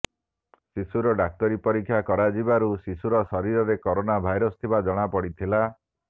ଶିଶୁର ଡାକ୍ତରୀ ପରୀକ୍ଷା କରାଯିବାରୁ ଶିଶୁର ଶରୀରରେ କରୋନା ଭାଇରସ୍ ଥିବା ଜଣା ପଡ଼ିଥିଲା